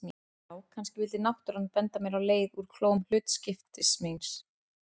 Já, kannski vildi náttúran benda mér á leið úr klóm hlutskiptis míns.